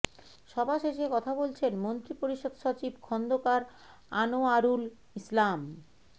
সভা শেষে কথা বলছেন মন্ত্রিপরিষদ সচিব খন্দকার আনোয়ারুল ইসলাম